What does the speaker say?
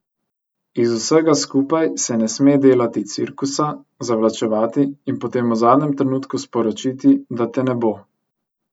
Iz vsega skupaj se ne sme delati cirkusa, zavlačevati in potem v zadnjem trenutku sporočiti, da te ne bo.